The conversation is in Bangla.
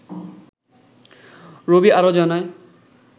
রবি আরও জানায়